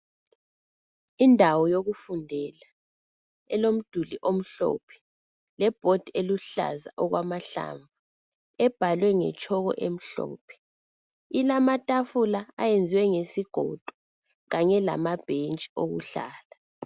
Indawo yokufundela elomduli omhlophe lebhodi eluhlaza okwamahlamvu ebhalwe ngetshoko emhlophe. Ilamatafula ayenziwe ngesigodo kanye lamabhentshi okuhlala.